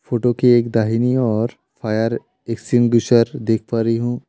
Photo के एक दाहिनी ओर फायर एक्जीक्यूशन देख पा रही हूं।